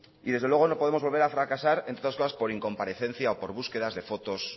y desde luego no podemos volver a fracasar entre otras cosas por incomparecencia o por búsquedas de fotos